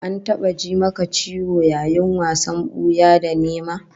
An taba ji maka ciwo yayin wasan buya da nema?